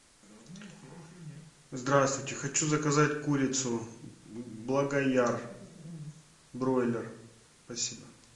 здравствуйте хочу заказать курицу благояр бройлер спасибо